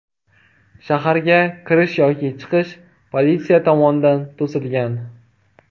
Shaharga kirish va chiqish politsiya tomonidan to‘silgan.